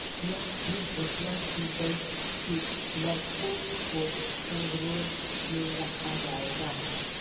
यह भी घोषणा की गई कि लड़कों को संगरोध में रखा जाएगा